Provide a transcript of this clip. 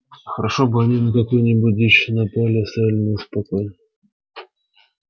хорошо бы они на какую-нибудь дичь напали и оставили нас в покое